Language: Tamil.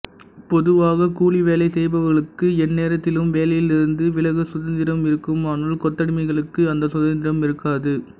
பொதுவாக கூலி வேலை செய்பவர்களுக்கு எந்நேரத்திலும் வேலையிலிருந்து விலக சுதந்திரம் இருக்கும் ஆனால் கொத்தடிமைகளுக்கு அந்த சுதந்திரம் இருக்காது